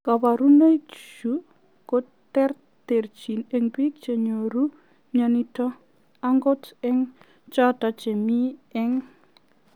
Kaparunoi chu koterterchin eng piik chenyoor mionitok angot eng chotok chemii eng